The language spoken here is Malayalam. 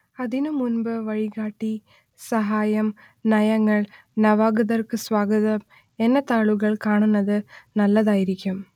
അതിനുമുൻപ് വഴികാട്ടി സഹായം നയങ്ങൾ നവാഗതർക്ക് സ്വാഗതം എന്ന താളുകൾ കാണുന്നത് നല്ലതായിരിക്കും